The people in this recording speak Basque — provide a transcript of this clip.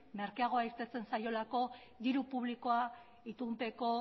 merkeagoa irteten zaiolako diru publikoa itunpeko